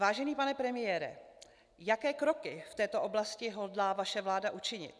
Vážený pane premiére, jaké kroky v této oblasti hodlá vaše vláda učinit?